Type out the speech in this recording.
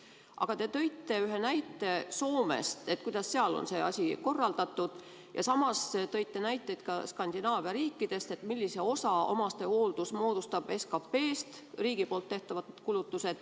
Aga te tõite ühe näite Soomest, kuidas seal on see asi korraldatud, ja samas tõite näiteid Skandinaavia riikidest, et millise osa omastehooldus moodustab SKP-st, millised on riigi poolt tehtavad kulutused.